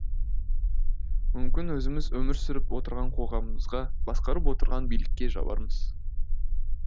мүмкін өзіміз өмір сүріп отырған қоғамымызға басқарып отырған билікке жабармыз